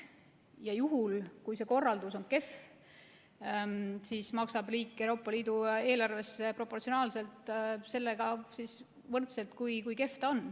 Ja juhul, kui see korraldus on kehv, siis maksab riik Euroopa Liidu eelarvesse proportsionaalselt, sellega võrdselt, kui kehv ta on.